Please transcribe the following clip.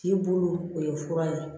K'i bolo o ye fura ye